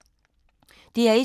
DR1